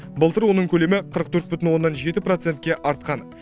былтыр оның көлемі қырық төрт бүтін оннан жеті процентке артқан